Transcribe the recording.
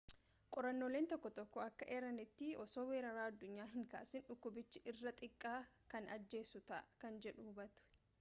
qorrannooleen tokko tokko akka eeranitti osoo weeraraa addunyaa hin kaasin dhukkubichi irra xiqqaa kan ajjeessu ta'a kan jedhu hubate